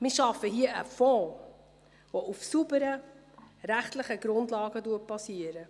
Wir schaffen hier einen Fonds, der auf sauberen rechtlichen Grundlagen basiert.